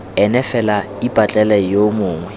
ene fela ipatlele yo mongwe